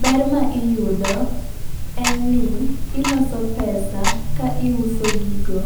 Ber ma iyudo en ni iloso pesa ka iuso gigo